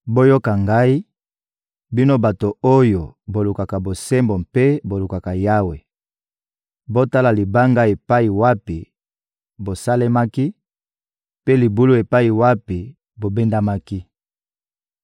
«Boyoka ngai, bino bato oyo bolukaka bosembo mpe bolukaka Yawe! Botala libanga epai wapi bosalemaki, mpe libulu epai wapi bobendamaki.